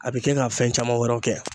A bi kɛ ka fɛn caman wɛrɛw kɛ